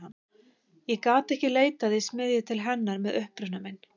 Ég gat ekki leitað í smiðju til hennar með uppruna minn.